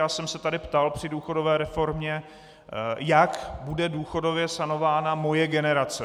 Já jsem se tady ptal při důchodové reformě, jak bude důchodově sanována moje generace.